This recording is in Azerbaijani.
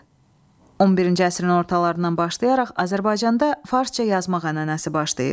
11-ci əsrin ortalarından başlayaraq Azərbaycanda farsça yazmaq ənənəsi başlayır.